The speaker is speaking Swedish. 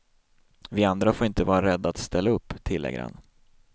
Vi andra får inte vara rädda att ställa upp, tillägger han.